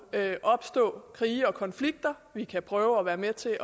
opstå krige og konflikter vi kan prøve at være med til at